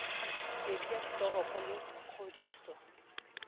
metse ya ditoropo le kgodiso